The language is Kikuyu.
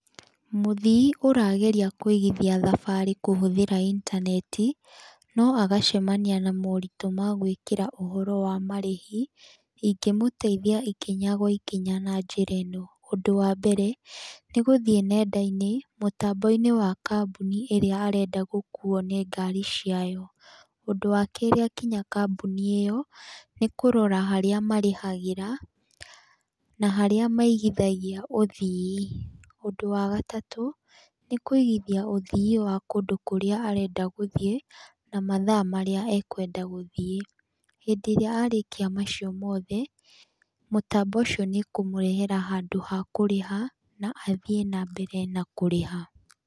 Mũthii ũrageria kũigithia thabarĩ kũhũthĩra intaneti, no agacemania na moritũ ma gwĩkĩra ũhoro wa marĩhi ingĩmũteithia ikinya gwa ikinya na njĩra iĩno: ũndũ wa mbere ni gũthiĩ nenda-inĩ mũtambo-ini wa kambuni ĩrĩa arenda gũkuo nĩ ngari ciayo, ũndũ wa kerĩ akinya kambuni ĩyo ni kũrora harĩa marĩhagĩra, na harĩa maigithagia ũthii, ũndũ wa gataũ nĩ kũigithia ũthii wa kũndũ kũria arenda gũthiĩ na mathaa marĩa ekwenda gũthiĩ. Hĩndĩ ĩrĩa arĩkia macio mothe, mũtambo ũcio nĩ ũkũmũrehera handũ ha kũriha na athiĩ na mbere na kũrĩha.